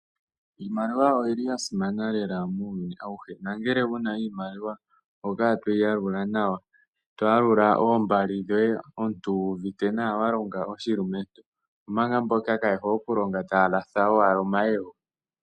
Iimaliwa oyili ya simana lela muuyuni awuhe, nongele wuna iimaliwa oho kala toyi yalula nawa, toyalula ooombali dhoye omuntu wu uvite nawa wa longa oshilumentu, omanga mboka kaayehole okulonga taya latha owala omayego.